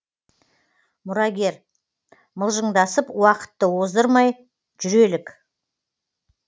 мұрагер мылжыңдасып уақытты оздырмай жүрелік